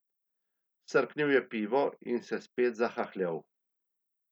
Srknil je pivo in se spet zahahljal.